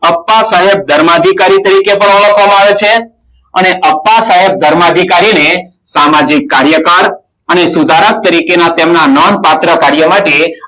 અપ્પા સાહેબ ધર્માધિકારી તરીકે પણ ઓળખવામાં આવે છે. અને અપ્પા સાહેબ ધર્માધિકારીને સામાજિક કાર્યકર અને સુધારક તરીકેના તેમના નામ પાત્ર પાછળ